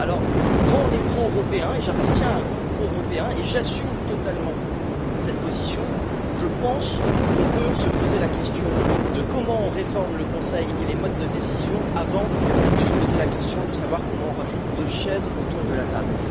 Alors, quand on est pro européen et j'appartiens à un groupe pro européen et j'assume totalement cette position, je pense qu'on peut s'interroger sur la manière de réformer le Conseil et les modes de décision, avant de se poser la question de savoir comment on rajoute deux chaises autour de la table.